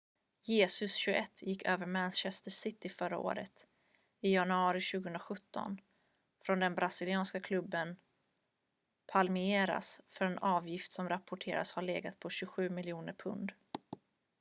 jesus 21 gick över till manchester city förra året i januari 2017 från den brasilianska klubben palmeiras för en avgift som rapporteras ha legat på 27 miljoner pund